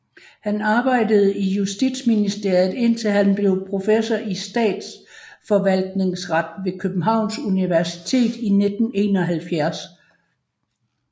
Han arbejdede i Justitsministeriet indtil han blev professor i statsforvaltningsret ved Københavns Universitet i 1971